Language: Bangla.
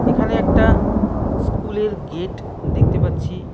এখানে একটা স্কুলের গেট দেখতে পাচ্ছি।